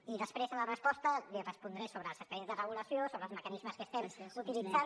i després a la resposta li respondré sobre els expedients de regulació sobre els mecanismes que estem utilitzant